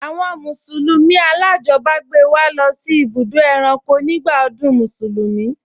Àwọn mùsùlùmí alájọbágbé wa lọ sí ibùdó ẹranko nígbà ọdún Mùsùlùmí